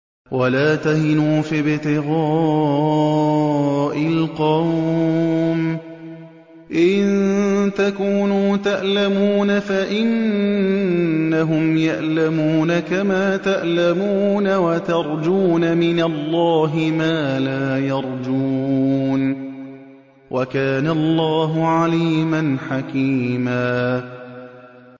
وَلَا تَهِنُوا فِي ابْتِغَاءِ الْقَوْمِ ۖ إِن تَكُونُوا تَأْلَمُونَ فَإِنَّهُمْ يَأْلَمُونَ كَمَا تَأْلَمُونَ ۖ وَتَرْجُونَ مِنَ اللَّهِ مَا لَا يَرْجُونَ ۗ وَكَانَ اللَّهُ عَلِيمًا حَكِيمًا